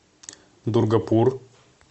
дургапур